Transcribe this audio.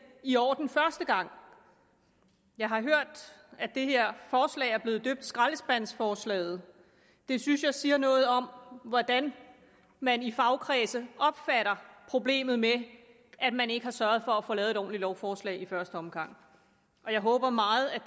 i orden første gang jeg har hørt at det her forslag er blevet døbt skraldespandsforslaget det synes jeg siger noget om hvordan man i fagkredse opfatter problemet med at man ikke har sørget for at få lavet et ordentligt lovforslag i første omgang jeg håber meget at